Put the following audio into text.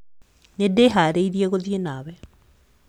Nĩndĩharĩirie gũthiĩ nawe